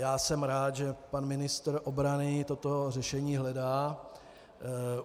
Já jsem rád, že pan ministr obrany toto řešení hledá.